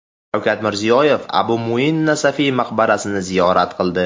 Shavkat Mirziyoyev Abu Muin Nasafiy maqbarasini ziyorat qildi.